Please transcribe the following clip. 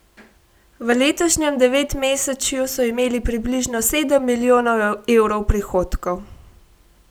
V letošnjem devetmesečju so imeli približno sedem milijonov evrov prihodkov.